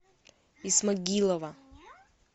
исмагилова